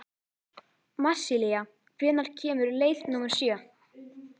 Marsilía, hvenær kemur leið númer sjö?